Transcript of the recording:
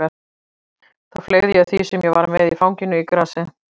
Þá fleygði ég því sem ég var með í fanginu í grasið.